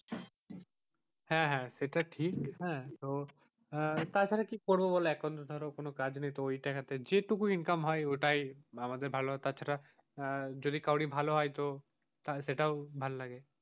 হ্যাঁ হাঁ সেটা ঠিক হাঁ তো তাছাড়া কি করবো বোলো এখন কি করবো বোলো এখন তো ধরো কোনো কাজ নেই তো ওই টাকা তে যেটুকু income হয় ঐটাই আমাদের ভালো তাছাড়া যদি কারোর ভালো হয় তো সেইটাও ভালো লাগে,